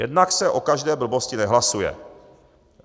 Jednak se o každé blbosti nehlasuje.